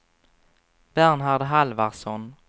Bernhard Halvarsson